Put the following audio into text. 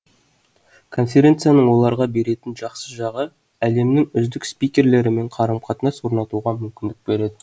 конференцияның оларға беретін жақсы жағы әлемнің үздік спикерлерімен қарым қатынас орнатуға мүмкіндік береді